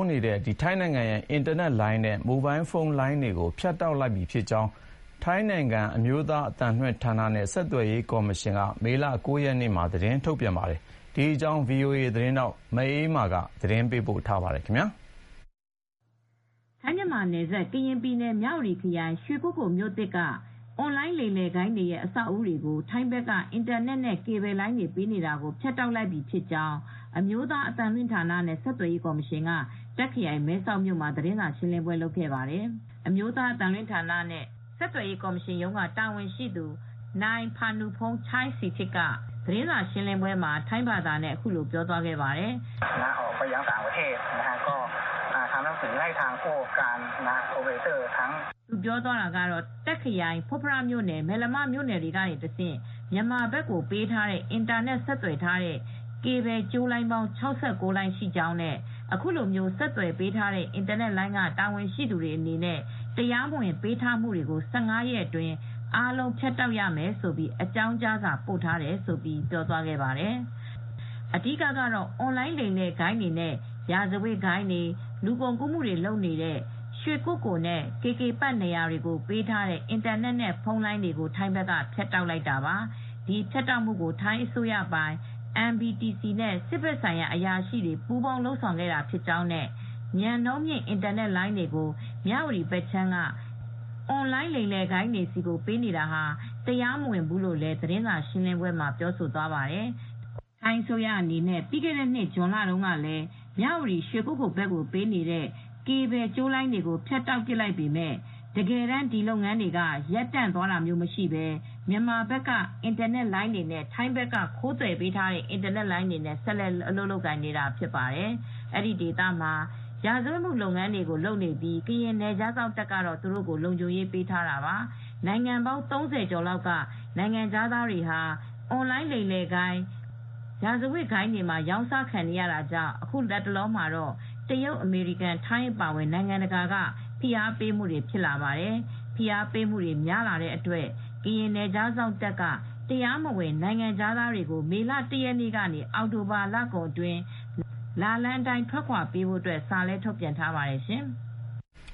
းနေတဲ့ ထိုင်းဘက်က အင်တာနက်နဲ့ မိုဘိုင်းဖုန်း Signal ကေဘယ်လိုင်းတွေကို ဖြတ်တောက်လိုက်ပြီဖြစ်ကြောင်း ထိုင်းနိုင်ငံက National Broadcasting and Telecommunication Commission အမျိုးသား အသံလွှင့်ဌာနနဲ့ ဆက်သွယ်ရေးကော်မရှင်က မေလ ၉ ရက်နေ့မှာ သတင်းထုတ်ပြန်ခဲ့ပါတယ်။ ဒီသတင်းကို ဗွီအိုအေသတင်းထောက်မအေးအေးမာက သတင်းပေးပို့ထားပါတယ်။ ထိုင်း-မြန်မာနယ်စပ် ကရင်ပြည်နယ် မြ၀တီခရိုင် ရွှေကုက္ကိုမြို့သစ်က အွန်လိုင်းလိမ်လည်ဂိုဏ်းတွေရဲ့အဆောက်အဦးတွေကို ထိုင်းဘက်က အင်တာနက်နဲ့ ကေဘယ်လိုင်းတွေပေးနေတာ ဖြတ်တောက်လိုက်ပြီဖြစ်ကြောင်း အမျိုးသား အသံလွှင့်ဌာနနဲ့ ဆက်သွယ်ရေးကော်မရှင်က တာ့ခရိုင်မဲဆောက်မြို့မှာသတင်းစာရှင်းလင်းပွဲလုပ်ခဲ့ပါတယ်။ National Broadcasting and Telecommunication Commission အမျိုးသား အသံလွှင့်ဌာနနဲ့ ဆက်သွယ်ရေးကော်မရှင်ရုံးက တာဝန်ရှိသူ နိုင် ဖါနုဖုန်း ချိုင်းစီထစ် (Panupong Chaisritip) က သတင်းစာရှင်းလင်းပွဲမှာ ထိုင်းဘာသာနဲ့အခုလိုပြောသွားပါတယ်။ သူ "ပြောသွားတာကတော့- တာ့ခ်ခရိုင် ဖွတ်ဖရမြို့နယ် မယ်လမမြို့နယ်က တဆင့် မြန်မာဘက်ကိုပေးထားတဲ့အင်တာနက် ကေဘယ်ကြိုးလိုင်းပေါင်း ၆၉ လိုင်း ရှိကြောင်းနဲ့ အခုလိုဆက်သွယ်ပေးထားတဲ့ အင်တာနက်လိုင်းက တာ၀န်ရှိသူတွေအနေနဲ့ တရားမဝင်ပေးထားတာတွေကို ၁၅ ရက်အတွင်း အားလုံး ဖြတ် တောက်ရမယ်" - လို့ အကြောင်းကြားစာပို့ထားကြောင်း ပြောသွားတာဖြစ်ပါတယ်။ အဓိကတော့ အွန်လိုင်းလိမ်လည်ဂိုဏ်းတွေနဲ့ ရာဇဝတ်ဂိုဏ်းလူကုန်ကူးမှုတွေ လုပ်နေတဲ့ ရွှေကုက္ကိုနဲ့ KK Park နေရာတွေကိုပေးထားတဲ့ အင်တာနက်နဲ့ ဖုန်းလိုင်းတွေ ထိုင်းဘက်ကဖြတ်တောက်လိုက်တာပါ။ ဒီဖြတ်တောက်မှုကို ထိုင်းအစိုးရပိုင် NBTC နဲ့ စစ်ဘက်ဆိုင်ရာအရာရှိတွေ ပူးပေါင်းလုပ်ဆောင်တာဖြစ်ကြောင်းနဲ့ မြန်နှုန်းမြင့် အင်တာနက်လိုင်းတွေကို မြ၀တီဘက်ခြမ်းက အွန်လိုင်းလိမ်လည်ဂိုဏ်းတွေဆီကို ပေးနေတာဟာ တရားမဝင်ဘူးလို့လည်း သတင်းစာရှင်းလင်းပဲွမှာပြောသွားပါတယ်။ ထိုင်းအစိုးရအနေနဲ့ပြီးခဲ့တဲ့နှစ် ဇွန်လကတေည်း မြ၀တီ ရွှေကုက္ကိုဘက်ကိုပေးနေတဲ့ ကေဘယ်ကြိုးလိုင်းတွေကို ဖြတ်တောက်ပစ်လိုက်ပေမဲ့ တကယ်တမ်း ဒီလုပ်ငန်းတွေက ရပ်တန့်မသွားဘဲ မြ့န်မာဘက်က အင်တာနက်လိုင်းတွေနဲ့ ထိုင်းဘက်က ခိုးသွယ်ပေးထားတဲ့အင်တာနက်လိုင်းတွေနဲ့ဆက်လက်အလုပ်လုပ်ကိုင်နေတာဖြစ်ပါတယ်။ အဲဒီဒေသမှာ ရာဇဝတ်လုပ်ငန်းတွေလုပ်နေပြီး ကရင်နယ်ခြားစောင့်တပ်ကတော့ သူတို့ကို လုံခြုံရေးပေးထားတာပါ။ နိုင်ငံပေါင်း ၃၀ လောက်က နိုင်ငံခြားသားတွေဟာ အွန်လိုင်းလိမ်လည်ဂိုဏ်း၊ လူကုန်ကူးဂိုဏ်း၊ ရာဇဝတ်ဂိုဏ်းတွေမှာ ရောင်းစားခံနေရတာကြောင့် အခုလတ်တလော တရုတ်၊ အမေရိကန်နဲ့ ထိုင်းအပါအဝင် နိုင်ငံတကာက ဝိုင်းပြီးဖိအားပေးလာကြပါတယ်။ အခုလို ဖိအားတွေများလာတဲ့အတွက် ကရင်နယ်ခြားစောင့်တပ်က တရားမဝင် နေထိုင်နေကြတဲ့ နိုင်ငံခြားသားတွေကို မေလ ၁ ရက်နေ့ကနေ အောက်တိုဘာလကုန်အတွင်း လာလမ်းအတိုင်းထွက်ခွါပေးဖို့ သတိပေးစာလည်းထုတ်ပြန်ထားပါတယ်ရှင်။